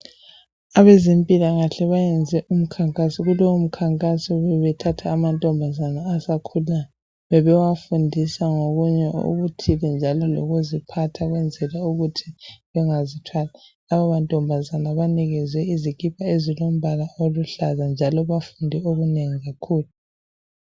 Abezempilakahle bayenze umkhankaso lowo mkhankaso bebethatha amantombazane asakhulayo bebewafundisa ngokunye ukuthi ukuzipha ukwenzela ukuthi bengazi thwali. Laba mantombazane anikezwe izikipa ezilombala oluhlaza njalo bafunde okunengi kakhulu.